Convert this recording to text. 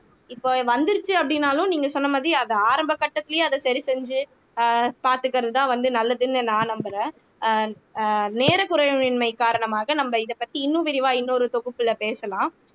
இப்ப வந்துருச்சு அப்படின்னாலும் நீங்க சொன்ன மாதிரி அது ஆரம்ப கட்டத்திலேயே அதை சரி செஞ்சு அஹ் பார்த்துக்கிறதுதான் வந்து நல்லதுன்னு நான் நம்புறேன் ஆஹ் ஆஹ் நேர குறைவின்மை காரணமாக நம்ம இதை பத்தி இன்னும் விரிவா இன்னொரு தொகுப்புல பேசலாம்